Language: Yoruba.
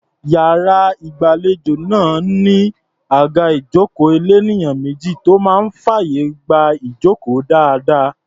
Iyàrá ìgbàlejò máa ń ní àga ìjókòó elénìyàn méjì tó máa ń fàyè gba ìjókòó dáadáa.